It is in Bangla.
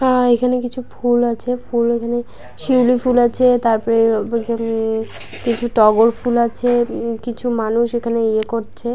আ-আ এইখানে কিছু ফুল আছে ফুল এইখানে শিউলি ফুল আছে তারপরে-এ-এ এ-ই-খা-নে কিছু টগর ফুল আছে । উম কিছু মানুষ এইখানে ইয়ে করছে।